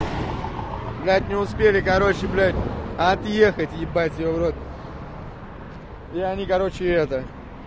блядь не успели короче блядь отъехать ебать его в рот и они короче это